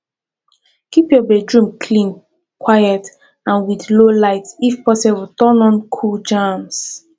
keep your bedroom clean quiet and with low light if possible turn on cool jams